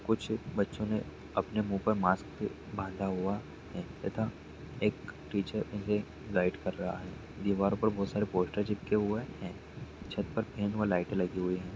कुछ बच्चो ने अपने मुँह पर मास्क बंधा हुआ है तथा एक टीचर इन्हें गाइड कर रहा है दिवारो पर बहुत सारे पोस्टर चिपके हुए है छत पर फैन व लाइट लगी हुई है।